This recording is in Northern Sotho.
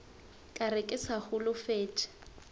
ka re ke sa holofetše